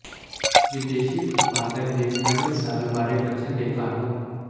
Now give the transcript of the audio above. ਵਿਦੇਸ਼ੀ ਉਤਪਾਦਨ ਦੇ ਨਵੇਂ ਸਾਲ ਬਾਰੇ ਬੱਚਿਆਂ ਦੇ ਕਾਰਟੂਨ